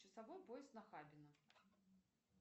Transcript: часовой пояс нахабино